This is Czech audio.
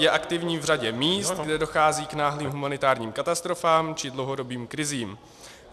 Je aktivní v řadě míst, kde dochází k náhlým humanitárním katastrofám či dlouhodobým krizím.